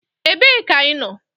Ebee ka ị nọ?